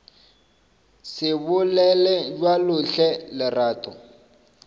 se bolele bjalo hle lerato